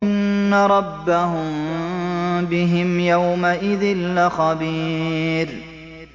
إِنَّ رَبَّهُم بِهِمْ يَوْمَئِذٍ لَّخَبِيرٌ